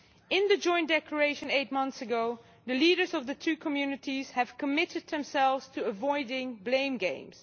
In the Joint Declaration eight months ago, the leaders of the two communities committed themselves to avoiding blame games.